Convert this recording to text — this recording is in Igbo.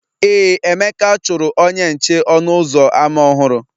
Ee, Emeka chụrụ onye nche ọnụ ụzọ ámá ọhụrụ